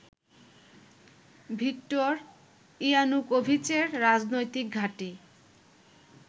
Victor ইয়ানুকোভিচের রাজনৈতিক ঘাটি